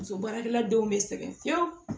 Muso baarakɛla denw bɛ sɛgɛn fiyewu